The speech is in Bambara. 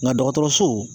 Nka dɔgɔtɔrɔso